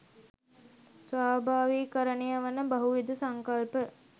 ස්වාභාවිකරණය වන බහුවිධ සංකල්ප